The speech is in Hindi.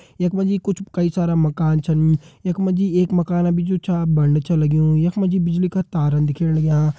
यख मा जी कुछ कई सारा मकान छन यख मा जी एक मकान अभी जु छा बण छ लग्यूं यख मा जी बिजली का तारन दिखेण लग्यां।